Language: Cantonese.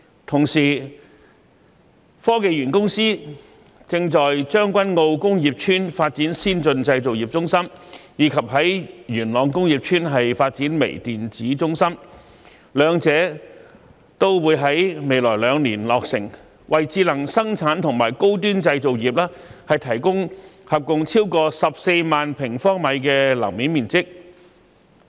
同時，香港科技園公司正在將軍澳工業邨發展先進製造業中心，以及在元朗工業邨發展微電子中心，兩者均會在未來兩年落成，為智能生產和高端製造業提供合共超過14萬平方米的樓面面積。